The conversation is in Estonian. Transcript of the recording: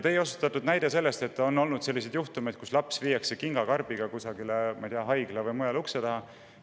Te tõite näite, et on olnud selliseid juhtumeid, kus laps viiakse kingakarbiga kusagile haigla ukse taha või mõne muu ukse taha.